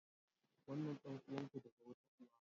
Wannan ɗan'uwan ku daga wata uwa.